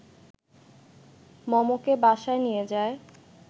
মমকে বাসায় নিয়ে যায়